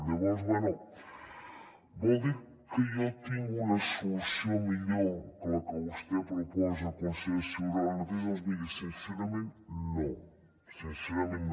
llavors bé vol dir que jo tinc una solució millor que la que vostè proposa consellera ciuró ara mateix doncs miri sincerament no